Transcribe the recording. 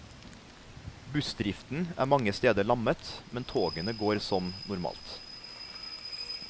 Bussdriften er mange steder lammet, men togene går som normalt.